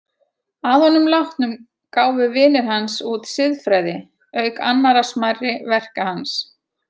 Að honum látnum gáfu vinir hans út Siðfræði, auk annarra smærri verka hans.